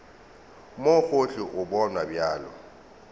mo gohle o bonwa bjalo